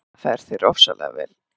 Það fer þér ofsalega vel!